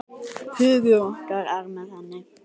Hugur okkar er með henni.